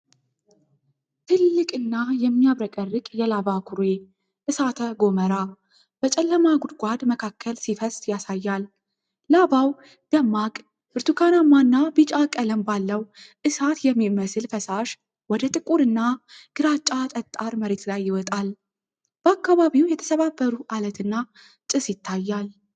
ትልቅ እና የሚያብረቀርቅ የላቫ ኩሬ (እሳተ-ጎመራ) በጨለማ ጉድጓድ መካከል ሲፈስ ያሳያል። ላቫው ደማቅ ብርቱካናማ እና ቢጫ ቀለም ባለው እሳት የሚመስል ፈሳሽ ወደ ጥቁር እና ግራጫ ጠጣር መሬት ላይ ይወጣል። በአካባቢው የተሰባበሩ አለት እና ጭስ ይታያል።